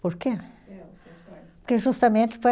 Por que? seus pais. Porque